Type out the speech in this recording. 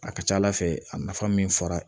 A ka ca ala fɛ a nafa min fɔra